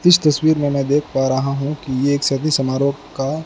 इस तस्वीर मैं देख पा रहा हूं कि ये सभ्य समारोह का--